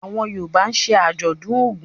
Awọn Yoruba ń ṣe ajọdun Ògún.